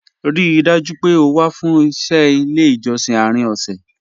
Ríì dájú pé ó wà fún iṣẹ̀ ilẹ̀ ijọ̀ṣìn àárín ọ̀ṣẹ́